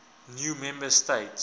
new member states